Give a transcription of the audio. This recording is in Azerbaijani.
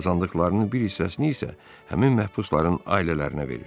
Qazandıqlarının bir hissəsini isə həmin məhbusların ailələrinə verir.